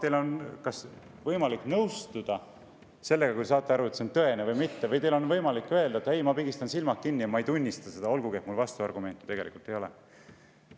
Teil on võimalik sellega nõustuda, kui te saate aru, et see on tõene või mitte, või teil on võimalik öelda: "Ei, ma pigistan silmad kinni ja ma ei tunnista seda, olgugi et mul vastuargumente ei ole.